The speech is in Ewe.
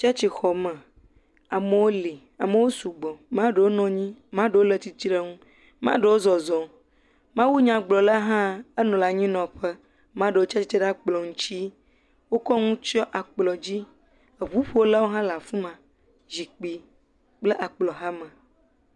Tsetsixɔme, amewo li, amewo sugbɔ, maɖewo nɔ anyi, maɖewo zɔzɔm, maɖewo le tsitre nu Mawunyagblɔla hã le anyinɔƒe, maɖewo tsi atsitre ɖe akplɔ ŋuti wokɔ nu tsiɔ akplɔ dzi, ŋuƒolawo hã la afi ma zikpui kple akplɔ hame.